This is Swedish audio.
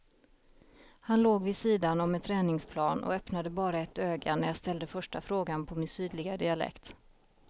Han låg vid sidan om en träningsplan och öppnade bara ett öga när jag ställde första frågan på min sydliga dialekt.